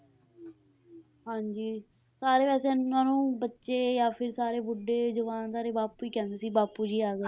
ਹਾਂਜੀ ਸਾਰੇ ਵੈਸੇ ਇਹਨਾਂ ਨੂੰ ਬੱਚੇ ਜਾਂ ਫਿਰ ਸਾਰੇ ਬੁੱਢੇ ਜਵਾਨ ਸਾਰੇ ਬਾਪੂ ਹੀ ਕਹਿੰਦੇ ਸੀ ਬਾਪੂ ਜੀ ਆ ਗਏ।